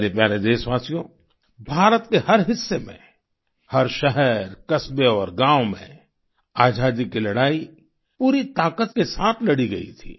मेरे प्यारे देशवासियो भारत के हर हिस्से में हर शहर कस्बे और गाँव में आजादी की लड़ाई पूरी ताकत के साथ लड़ी गई थी